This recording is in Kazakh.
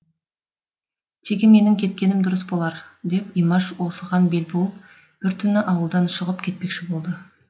тегі менің кеткенім дұрыс болар деп имаш осыған бел буып сол түні ауылдан шығып кетпекші болды